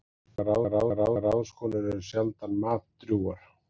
Margar ráðskonur eru sjaldan matdrjúgar.